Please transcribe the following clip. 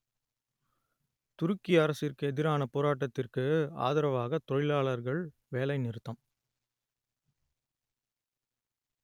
துருக்கி அரசிற்கு எதிரான போராட்டத்திற்கு ஆதரவாக தொழிலாளர்கள் வேலைநிறுத்தம்